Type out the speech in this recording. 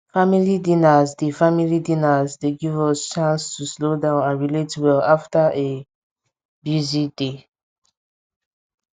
family dinners dey family dinners dey give us chance to slow down and relate well after a busy day